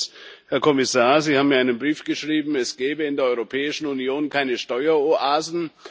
Erstens Herr Kommissar, Sie haben mir einen Brief geschrieben, es gäbe in der Europäischen Union keine Steueroasen.